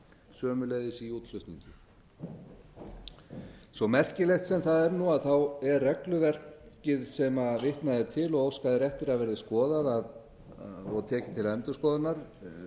sömuleiðis í útflutningi svo merkilegt sem það er nú er regluverkið sem vitnað er til og óskað er eftir að verði skoðað og tekið til endurskoðunar